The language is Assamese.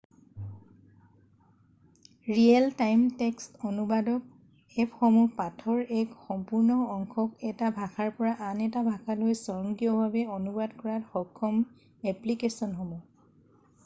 ৰিয়েল টাইম টেক্সট অনুবাদক এপসমূহ পাঠৰ এক সম্পূৰ্ণ অংশক এটা ভাষাৰ পৰা আন এটা ভাষালৈ স্বয়ংক্ৰিয়ভাৱে অনুবাদ কৰাত সক্ষম এপ্লিকেছনসমূহ